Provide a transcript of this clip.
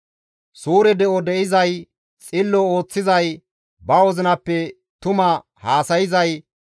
Suure de7o de7izay, xillo ooththizay, ba wozinappe tuma haasayzay,